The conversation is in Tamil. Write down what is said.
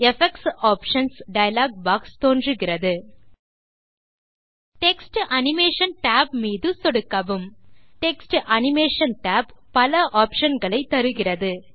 எஃபெக்ட்ஸ் ஆப்ஷன்ஸ் டயலாக் பாக்ஸ் தோன்றுகிறது text animation tab text animation tab பல ஆப்ஷன்ஸ் களை தருகிறது